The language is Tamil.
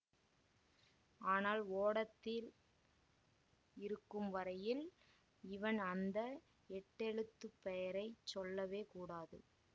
ஆனால் ஓடத்தில் இருக்கும் வரையில் இவன் அந்த எட்டெழுத்துப் பெயரை சொல்லவே கூடாது